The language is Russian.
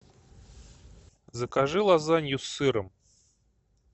закажи лазанью с сыром